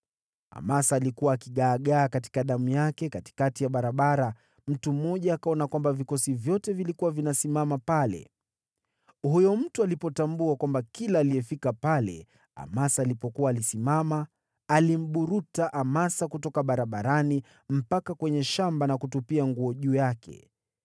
Amasa alikuwa akigaagaa katika damu yake katikati ya barabara; mtu mmoja akaona kwamba vikosi vyote vilikuwa vinasimama pale. Huyo mtu alipotambua kwamba kila aliyefika pale Amasa alipokuwa alisimama, alimburuta Amasa kutoka barabarani mpaka kwenye shamba na kutupia nguo juu yake.